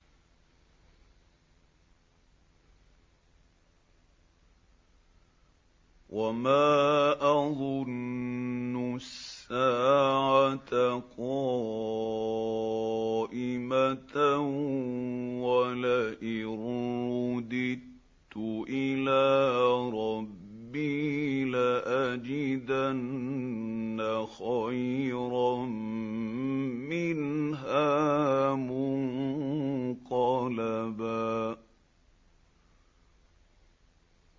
وَمَا أَظُنُّ السَّاعَةَ قَائِمَةً وَلَئِن رُّدِدتُّ إِلَىٰ رَبِّي لَأَجِدَنَّ خَيْرًا مِّنْهَا مُنقَلَبًا